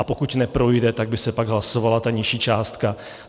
A pokud neprojde, tak by se pak hlasovala ta nižší částka.